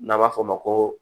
N'an b'a fɔ o ma ko